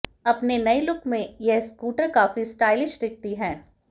अपने नए लुक में यह स्कूटर काफी स्टाइलिश दिखती है